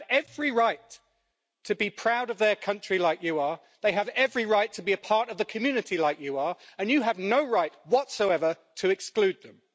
And they have every right to be proud of their country like you are, they have every right to be a part of the community like you are, and you have no right whatsoever to exclude them.